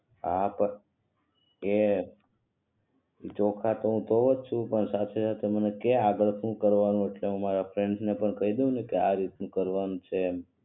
હા પણ એ ચોખા તો હુ ધોઉ છું પણ સાથે સાથે કે તુ મને કે આગળ શું કરવાનું એટલે હુ મારા ફ્રેન્ડ ને પણ કઈ દવ ને કે આ રીતથી કરવાનું છે એમ